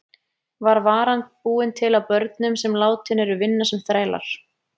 Var varan búin til af börnum sem látin eru vinna sem þrælar?